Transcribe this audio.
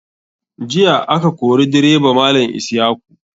Jiya a ka kori direba malam isyaku.